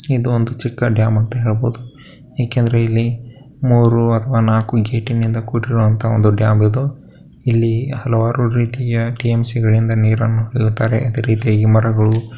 ಇದು ಒಂದು ಚಿಕ್ಕ ಡ್ಯಾಮ್ ಅಂತ ಹೇಳಬಹುದು ಏಕೆಂದ್ರೆ ಇಲ್ಲಿ ಮೂರು ಅಥವಾ ನಾಲ್ಕು ಗೇಟ ನಿಂದ ಕೂಡಿರುವಂತಹ ಒಂದು ಡ್ಯಾಮ್ ಇದು ಇಲ್ಲಿ ಹಲವಾರು ರೀತಿಯ ಟಿಎಂಸಿ ಗಳಿಂದ ನೀರನ್ನು ಬಿಡುತ್ತಾರೆ ಇದೆ ರೀತಿಯಾಗಿ ಮರಗಳು --